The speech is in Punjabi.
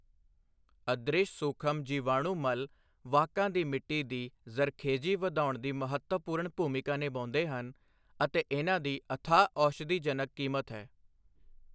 ਅਦ੍ਰਿਸ਼ ਸੂਖਮ ਜੀਵਾਣੂ ਮਲ ਵਾਹਕਾਂ ਦੀ ਮਿੱਟੀ ਦੀ ਜ਼ਰਖੇਜੀ ਵਧਾਉਣ ਦੀ ਮਹੱਤਵਪੂਰਣ ਭੂਮਿਕਾ ਨਿਭਾਉਂਦੇ ਹਨ ਅਤੇ ਇਨ੍ਹਾਂ ਦੀ ਅਥਾਹ ਔਸ਼ਧੀਜਨਕ ਕੀਮਤ ਹੈ।